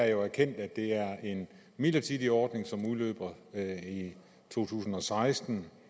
jo erkendt at det er en midlertidig ordning som udløber i to tusind og seksten